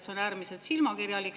See on äärmiselt silmakirjalik.